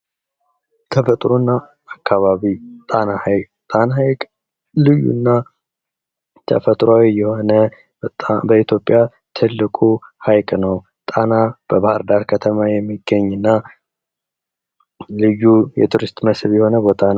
ተፈጥሮና አካባቢ ጣና ሐይቅ ጣና ሐይቅ ልዩ እና ተፈጥሮአዊ የሆነ በጣም በኢትዮጵያ ትልቁ ሐይቅ ነው። ጣና በባህር ዳር ከተማ የሚገኝ እና ልዩ የቱሪስት መስህብን የሆነ ቦታ ነው።